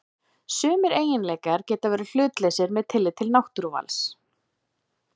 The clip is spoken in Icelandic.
Sumir eiginleikar geta verið hlutlausir með tilliti til náttúruvals.